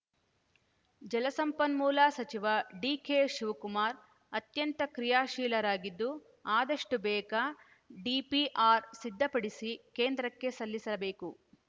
ಜಲಸಂಪನ್ಮೂಲ ಸಚಿವ ಡಿಕೆಶಿವಕುಮಾರ್‌ ಅತ್ಯಂತ ಕ್ರಿಯಾಶೀಲರಾಗಿದ್ದು ಅದಷ್ಟುಬೇಗ ಡಿಪಿಆರ್‌ ಸಿದ್ಧಪಡಿಸಿ ಕೇಂದ್ರಕ್ಕೆ ಸಲ್ಲಿಸಬೇಕು